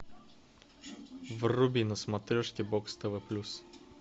вруби на смотрешке бокс тв плюс